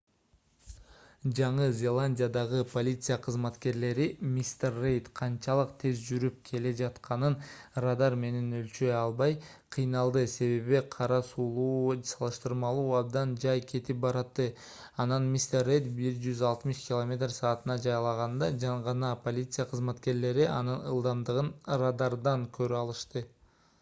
жаңы зеландиядагы полиция кызматкерлери мистер рейд канчалык тез жүрүп келе жатканын радар менен өлчөй албай кыйналды себеби кара сулуу салыштырмалуу абдан жай кетип баратты. анан мистер рейд 160 км/с жайлаганда гана полиция кызматкерлери анын ылдамдыгын радардан көрө алышты